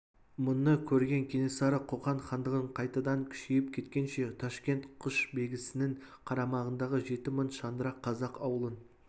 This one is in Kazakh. мұны көрген кенесары қоқан хандығын қайтадан күшейіп кеткенше ташкент құшбегісінің қарамағындағы жеті мың шаңырақ қазақ аулын